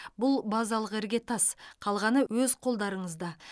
бұл базалық іргетас қалғаны өз қолдарыңызда